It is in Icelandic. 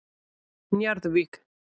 Njarðvík